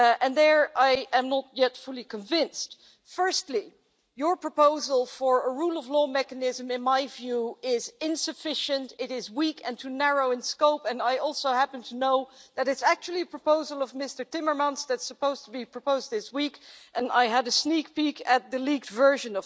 There I am not yet fully convinced. Firstly, your proposal for a rule of law mechanism in my view is insufficient. It is weak and too narrow in scope and I also happen to know that it's actually a proposal from Mr Timmermans that's supposed to be proposed this week as I had a sneak peek' at the leaked version.